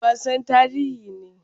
Wasan tarihi ne.